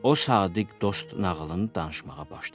O sadiq dost nağılını danışmağa başladı.